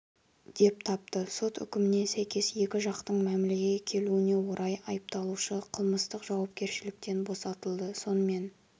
деп тапты сот үкіміне сәйкес екі жақтың мәмілеге келуіне орай айыпталушы қылмыстық жауапкершіліктен босатылды сонымен